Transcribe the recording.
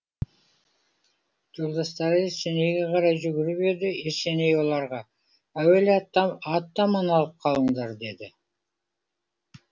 жолдастары есенейге қарай жүгіріп еді есеней оларға әуелі атты аман алып қалыңдар деді